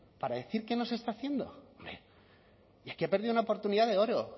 para decir que no se está haciendo hombre y aquí ha perdido una oportunidad de oro